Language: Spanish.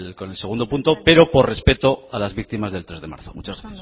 con el segundo punto pero por respeto a las víctimas del tres de marzo muchas